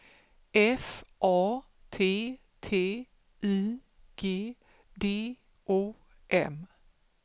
F A T T I G D O M